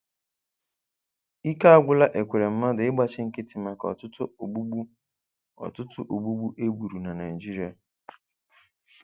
Ike agwụla Ekweremmadu ịgbachi nkịtị maka ọtụtụ ogbugbu ọtụtụ ogbugbu e gburu na Naịjirịa.